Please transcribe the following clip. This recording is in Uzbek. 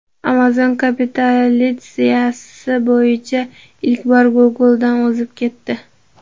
Amazon kapitalizatsiyasi bo‘yicha ilk bor Google’dan o‘zib ketdi.